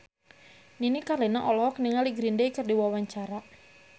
Nini Carlina olohok ningali Green Day keur diwawancara